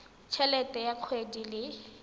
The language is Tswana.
t helete ya kgwedi le